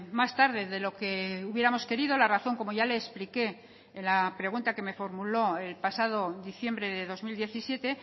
más tarde de lo que hubiéramos querido la razón como ya le expliqué en la pregunta que me formuló el pasado diciembre de dos mil diecisiete